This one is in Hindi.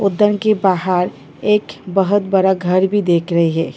उदन के बाहर एक बहुत बड़ा घर भी देख रही है।